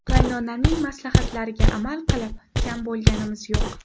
Qaynonamning maslahatlariga amal qilib, kam bo‘lganimiz yo‘q.